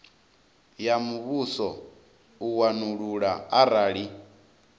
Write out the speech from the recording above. ya muvhuso u wanulula arali